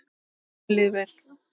Og mér líður vel.